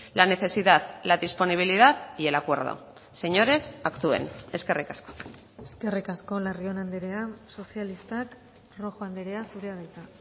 la necesidad la disponibilidad y el acuerdo señores actúen eskerrik asko eskerrik asko larrion andrea sozialistak rojo andrea zurea da hitza